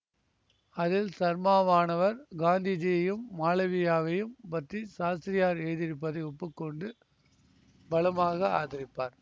அதில் சர்மாவானவர் காந்திஜியையும் மாளவியாவையும் பற்றி சாஸ்திரியார் எழுதியிருப்பதை ஒப்பு கொண்டு பலமாக ஆதரிப்பார்